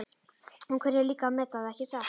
Þú kunnir líka að meta það, ekki satt?